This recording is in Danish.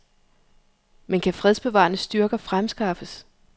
Men kan fredsbevarende styrker fremskaffes?